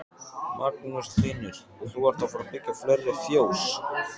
Magnús Hlynur: Og þú ert að fara byggja fleiri fjós?